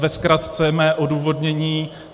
Ve zkratce mé odůvodnění.